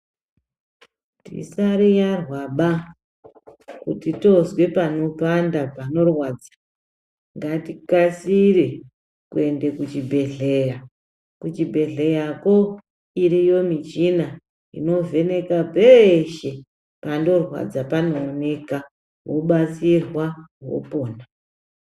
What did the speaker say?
Tisariyarwaba ,kuti toozwe panopanda panorwadza, ngatikasire kuende kuchibhedhleya. Kuchibhedhleyako, iriyo michina inovhenekwa peeshe, panorwadza panooneka, wobatsirwa wopona.